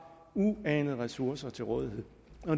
uanede ressourcer til rådighed